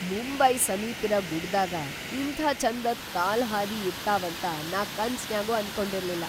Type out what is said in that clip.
ಮುಂಬೈ ಸಮೀಪಿರ ಗುಡ್ಡ್‌ದಾಗ ಇಂಥಾ ಛಂದದ್ ಕಾಲ್‌ಹಾದಿ ಇರತಾವಂತ ನಾ ಕನಸ್ನ್ಯಾಗೂ ಅನ್ಕೊಂಡಿರ್ಲಿಲ್ಲ.